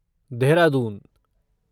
Dehradun